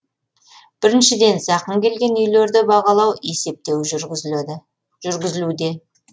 біріншіден зақым келген үйлерді бағалау есептеу жүргізілуде